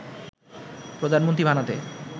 প্রধানমন্ত্রী বানাতে